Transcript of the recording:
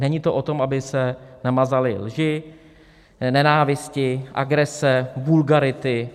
Není to o tom, aby se nemazaly lži, nenávisti, agrese, vulgarity.